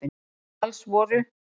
Alls voru